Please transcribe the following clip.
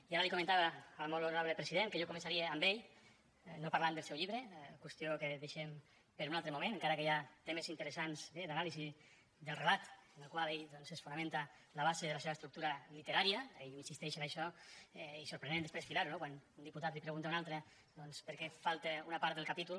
i ara li comentava al molt honorable president que jo començaria amb ell no parlant del seu llibre qüestió que deixem per un altre moment encara que hi ha temes interessants eh d’anàlisi del relat en el qual ell fonamenta la base de la seva estructura literària ell insisteix en això i sorprenent després filar ho no quan un diputat li pregunta a un altre per què falta una part del capítol